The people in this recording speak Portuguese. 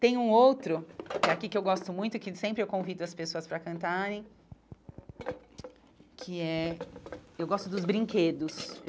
Tem um outro, que é aqui, que eu gosto muito, que sempre eu convido as pessoas para cantarem, que é... Eu gosto dos brinquedos.